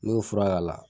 N'i y'o fura k'a la